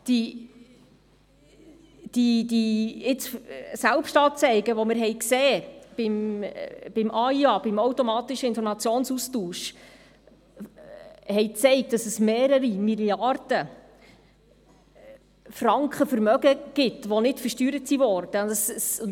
Die Selbstanzeigen in Zusammenhang mit dem AIA haben gezeigt, dass es mehrere Milliarden Franken Vermögen gibt, die nicht versteuert wurden.